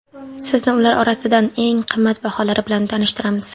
Sizni ular orasidan eng qimmatbaholari bilan tanishtiramiz.